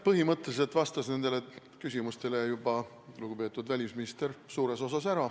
Põhimõtteliselt vastas nendele küsimustele suures osas juba lugupeetud välisminister.